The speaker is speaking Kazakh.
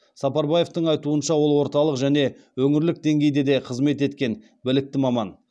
сапарбаевтың айтуынша ол орталық және өңірлік деңгейде де қызмет еткен білікті маман